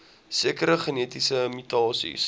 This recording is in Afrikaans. sekere genetiese mutasies